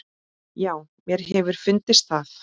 Já, mér hefur fundist það.